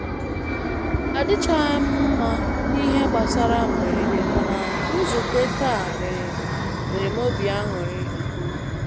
Adịchghị m mma na ihe gbasara mberede, mana nzute taa mere m obi aṅurị nke ukwuu